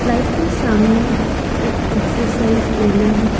Light के सामने एक एक्सरसाइज एरिया है।